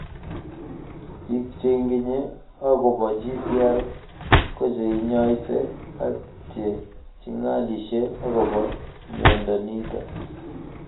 Piik che ingine akopo GTR ko che inyaise ak che chig�lishe akopo miondo nitok